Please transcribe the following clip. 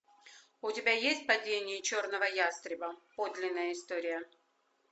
у тебя есть падение черного ястреба подлинная история